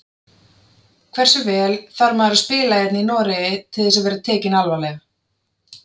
Hversu vel þarf maður að spila hérna í Noregi til þess að vera tekinn alvarlega?